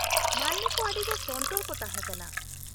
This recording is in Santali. -ᱢᱟᱹᱱᱢᱤ ᱠᱚ ᱟᱹᱰᱤᱜᱮ ᱥᱚᱱᱛᱚᱨ ᱠᱚ ᱛᱟᱦᱮᱸᱠᱟᱱᱟ ᱾